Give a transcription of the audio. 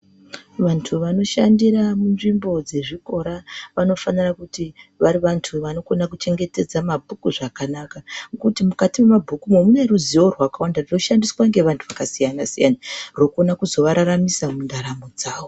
Vantu vanoshandira munzvimbo dzezvikora vanofanira kuti vari vantu vanogona kuchengetedza mabhuku zvakanaka, ngekuti mukati memabhuku imomo mune ruzivo rwakawanda runoshandiswa ngevantu vakasiyana siyana rokugona kuzovabatsira muntaramo dzavo.